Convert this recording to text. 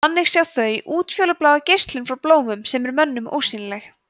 þannig sjá þau útfjólubláa geislun frá blómum sem er mönnum ósýnileg